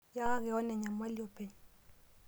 Iyaki koon enyamali openy.